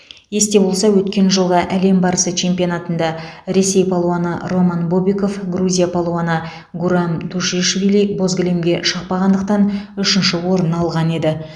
есте болса өткен жылғы әлем барысы чемпионатында ресей палуаны роман бобиков грузия палуаны гурам тушишвили боз кілемге шықпағандықтан үшінші орын алған еді